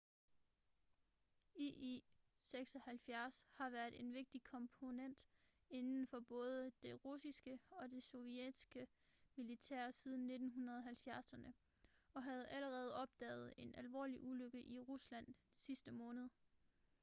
il-76 har været en vigtig komponent inden for både det russiske og det sovjetiske militær siden 1970'erne og havde allerede opdaget en alvorlig ulykke i rusland sidste måned